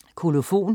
Kolofon